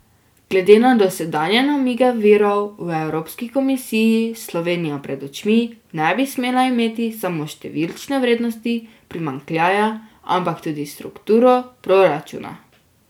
Glede na dosedanje namige virov v evropski komisiji Slovenija pred očmi ne bi smela imeti samo številčne vrednosti primanjkljaja, ampak tudi strukturo proračuna.